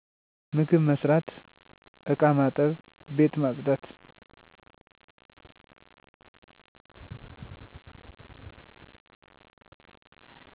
ምግብ መስራት ,እቃ ማጠብ, ቤት ማፅዳት።